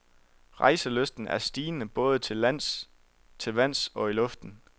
Rejselysten er stigende både til lands, til vands og i luften.